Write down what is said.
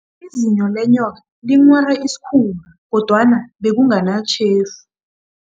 Izinyo lenyoka linghware isikhumba, kodwana bekunganatjhefu.